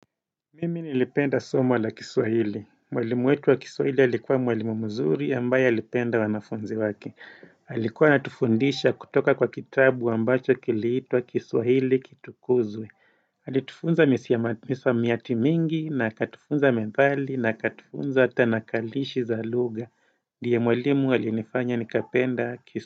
Mimi nilipenda somo la kiswahili. Mwalimu wetu wa kiswahili alikuwa mwalimu mzuri, ambaye alipenda wanafunzi wake. Alikuwa anatufundisha kutoka kwa kitabu ambacho kiliitwa kiswahili kitukuzwe. Alitufunza misamiati mingi na akatufunza methali, na akatufunza Tanakarishi za lugha. Ndiye mwalimu alinifanya nikapenda kiswahili.